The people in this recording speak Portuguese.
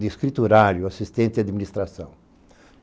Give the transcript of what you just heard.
de escriturário, assistente de administração.